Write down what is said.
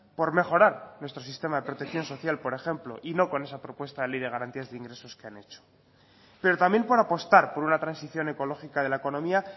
por mejorar nuestro sistema de protección social por ejemplo y no con esa propuesta de ley de garantías de ingresos que han hecho pero también por apostar por una transición ecológica de la economía